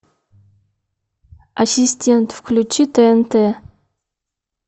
ассистент включи тнт